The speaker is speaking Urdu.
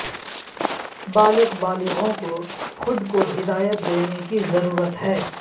بالغ بالغوں کو خود کو ہدایت دینے کی ضرورت ہے